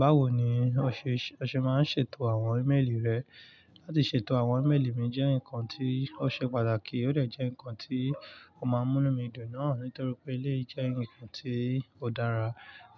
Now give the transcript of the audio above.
Báwo ni o ṣe máa ń ṣètò àwọn íméelì rẹ? Láti ṣètò àwọn ímeélì mi jẹ́ nǹkan tí ó ṣe pàtàkì, ó dẹ̀ jẹ́ nǹkan tí ó máa ń mú nu mí dùn náà nítorí pé eleyii jẹ́ nǹkan tí ó dára